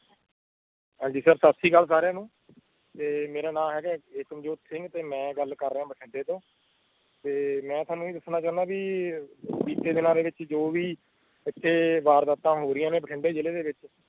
ਹਾਂਜੀ ਸਤਸ਼੍ਰੀਅਕਾਲ ਸਾਰੀਆਂ ਨੂੰ ਤੇ ਮੇਰਾ ਨਾਂਮ ਏਗਾ ਏਕਮ ਜੋਤ ਸਿੰਘ ਤੇ ਮੈਂ ਗੱਲ ਕਾਰ ਰਹੀਆਂ ਬਠਿੰਡਾਤੋਂ ਤੇ ਮੈਂ ਤੈਨੂੰ ਇਹ ਦੱਸਣਾ ਚਾਦਾ ਸੀ ਬੀਤੇ ਦਿਨਾਂ ਚ ਜੋ ਵੀ ਇਤੇ ਵਾਰ ਦਾਤਾ ਹੋ ਰਹੀਆਂਬਠਿੰਡਾ ਜਿਲੇ ਵਿੱਚ